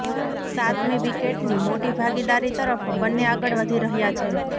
સાતમી વિકેટની મોટી ભાગીદારી તરફ બન્ને આગળ વધી રહ્યાં છે